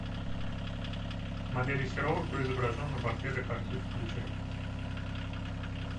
моделей серова кто изображен на портретах архив включай